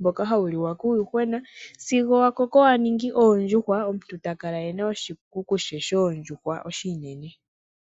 mboka hawu liwa kuuyuhwena sigo wakoko waningi oondjuhwa omuntu takala ena oshikuku she shoondjuhwa oshinene.